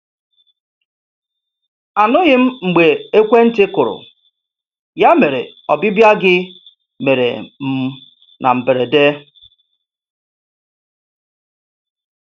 Anụghị m mgbe ekwentị kụrụ, ya mere ọbịbịa gị mere m na mberede.